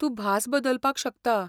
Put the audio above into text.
तूं भास बदलपाक शकता.